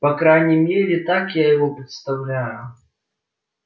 по крайней мере так я его представляю